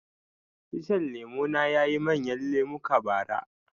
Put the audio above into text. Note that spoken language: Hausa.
Icen lemo na yayi manyan lemuka bara